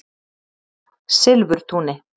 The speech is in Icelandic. Silfurtúni